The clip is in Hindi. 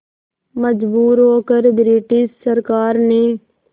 मजबूर होकर ब्रिटिश सरकार ने